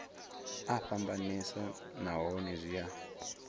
a fhambanesa nahone zwi a